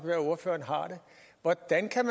hvordan kan